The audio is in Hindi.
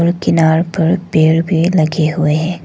किनार पर पेड़ भी लगे हुए हैं।